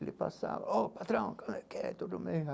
Ele passava, oh, patrão, como é que é, tudo o mesmo.